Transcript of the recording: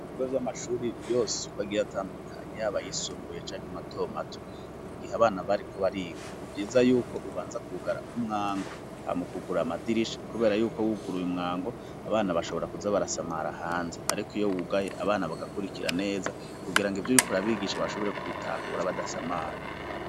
mu bigo vy'amashuri yose uko agiye atandukanye yaba ayisumbuye canke matomato mu gihe abana bariko bariga nivyiza yuko ubanza kugara umwango ha mu kugurura amadirisha kubera yuko wuguru ye umwango abana bashobora kuza barasamara hanze ariko iyo wugaye abana bagakurikira neza kugira ngo ivyo urikora ubigisha bashobore kubitahura badasamara